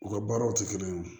U ka baaraw tɛ kelen ye